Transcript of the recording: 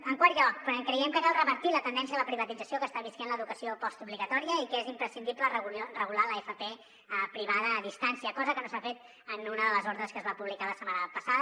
en quart lloc creiem que cal revertir la tendència a la privatització que està vivint l’educació postobligatòria i que és imprescindible regular l’fp privada a distància cosa que no s’ha fet en una de les ordres que es va publicar la setmana passada